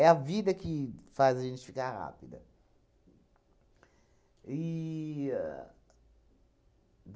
a vida que faz a gente ficar rápida. E